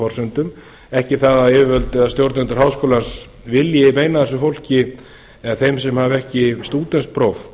forsendum ekki það að yfirvöld eða stjórnendur háskólans vilji meina þessu fólki eða þeim sem hafa ekki stúdentspróf